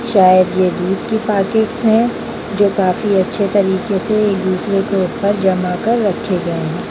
शायद ये दूध की पाकेट्स है जो काफी अच्छी तरीके से एक दूसरे से ऊपर जमा कर रखे गए हैं।